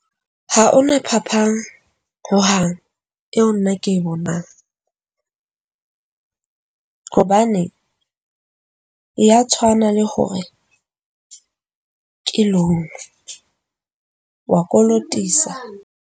Ha o na phapang ho hang eo nna ke e bonang. Hobane ya tshwana, le hore ke Long way. Kolotisa .